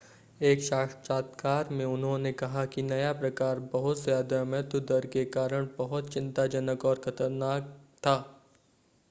एक साक्षात्कार में उन्होंने कहा कि नया प्रकार बहुत ज़्यादा मृत्यु दर के कारण बहुत चिंताजनक और ख़तरनाक था